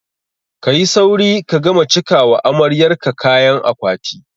Ka yi sauri ka gama cika wa amaryar ka kayan akwati!